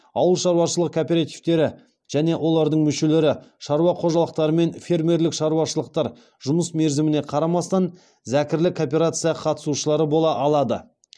ауыл шаруашылығы кооперативтері және олардың мүшелері шаруа қожалықтары мен фермерлік шаруашылықтар жұмыс мерзіміне қарамастан зәкірлі кооперация қатысушылары бола алады